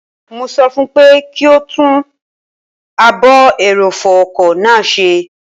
Mo sọ fún pé kí ó tún ààbò ẹrọ̀fọ̀ ọkọ̀ náà ṣe